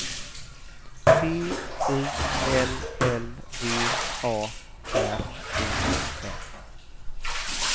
T I L L V A R O N